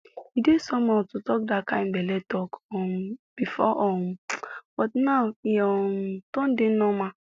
e dey somehow to talk that kind belle talk um before um but now e um don dey normal